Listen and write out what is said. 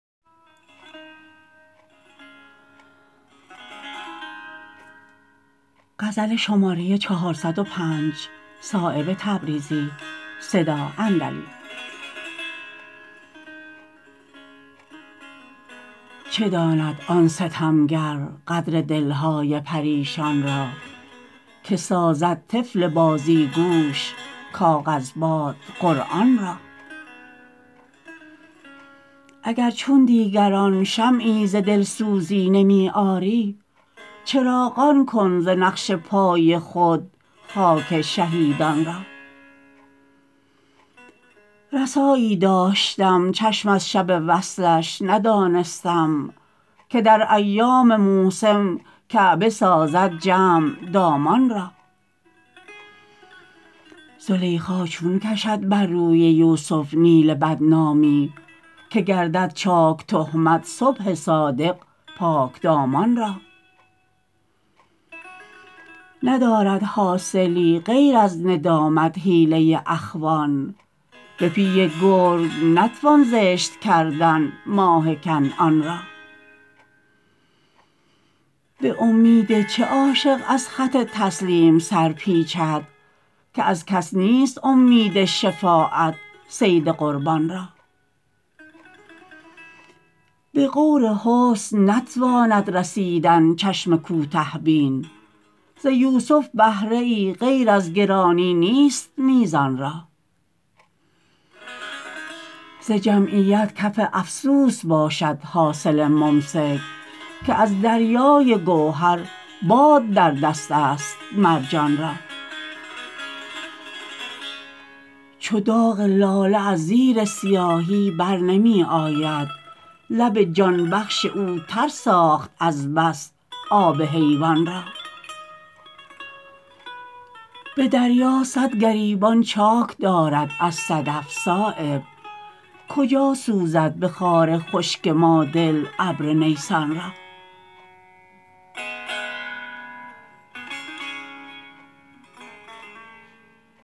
چه داند آن ستمگر قدر دل های پریشان را که سازد طفل بازیگوش کاغذباد قرآن را اگر چون دیگران شمعی ز دلسوزی نمی آری چراغان کن ز نقش پای خود خاک شهیدان را رسایی داشتم چشم از شب وصلش ندانستم که در ایام موسم کعبه سازد جمع دامان را زلیخا چون کشد بر روی یوسف نیل بدنامی که گردد چاک تهمت صبح صادق پاکدامان را ندارد حاصلی غیر از ندامت حیله اخوان به پیه گرگ نتوان زشت کردن ماه کنعان را به امید چه عاشق از خط تسلیم سرپیچد که از کس نیست امید شفاعت صید قربان را به غور حسن نتواند رسیدن چشم کوته بین ز یوسف بهره ای غیر از گرانی نیست میزان را ز جمعیت کف افسوس باشد حاصل ممسک که از دریای گوهر باد در دست است مرجان را چو داغ لاله از زیر سیاهی برنمی آید لب جان بخش او تر ساخت از بس آب حیوان را به دریا صد گریبان چاک دارد از صدف صایب کجا سوزد به خار خشک ما دل ابر نیسان را